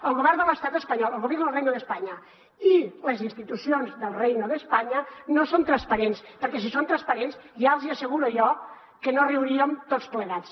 el govern de l’estat espanyol el gobierno del reino de españa i les institucions del reino de españa no són transparents perquè si fossin transparents ja els hi asseguro jo que no riuríem tots plegats